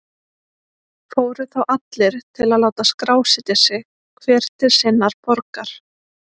Fóru þá allir til að láta skrásetja sig, hver til sinnar borgar.